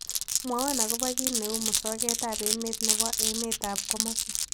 Mwawon ago po kiit ne uu musogetap emet ne po emetap komosi